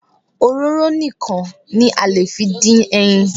Òróró nìkan ni a lè fi dín ẹyin